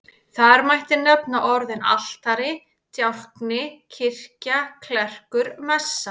Þar mætti nefna orðin altari, djákni, kirkja, klerkur, messa.